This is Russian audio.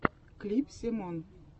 клип семон